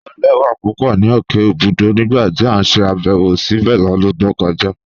Ọ̀ lẹ̀wà pupọ̀ ni okè Òbùdú nígbà tí a ṣè àbẹ̀wọ̀ síbé lọ́dún tó kọja.